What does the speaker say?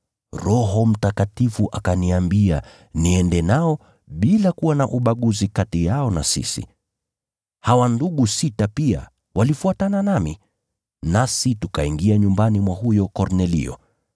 Roho Mtakatifu akaniambia niende nao bila kuwa na ubaguzi kati yao na sisi. Hawa ndugu sita pia walifuatana nami, nasi tukaingia nyumbani mwa huyo Kornelio.